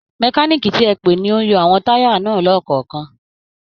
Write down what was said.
Mẹkáníìkì ti ẹ pè ni ó ń yọ àwọn táyà náà lọ́kọ̀ọ̀kan